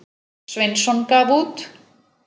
Sveinsson gaf út.